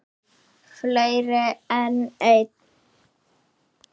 Fleiri en einn?